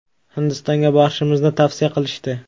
Hindistonga borishimizni tavsiya qilishdi.